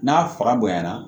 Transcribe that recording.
N'a fara bonyana